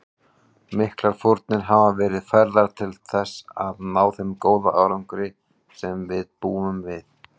Miklar fórnir hafa verið færðar til að ná þeim góða árangri sem við búum við.